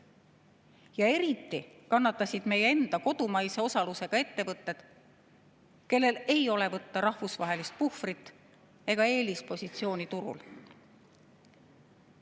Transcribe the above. Ja eriti kannatasid meie enda kodumaise osalusega ettevõtted, kellel ei ole võtta rahvusvahelist puhvrit ega eelispositsiooni turul.